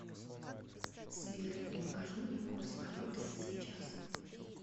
сбер покажи мне курс валюты сейчас